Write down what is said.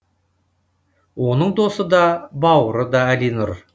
оның досы да бауыры да әлинұр